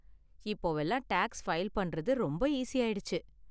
இப்போவெல்லாம் tax file பண்றது ரொம்ப ஈஸியாயிடுச்சு.